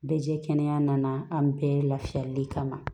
Bɛ jɛ kɛnɛya nana an bɛɛ lafiyali kama